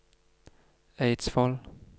Eidsvoll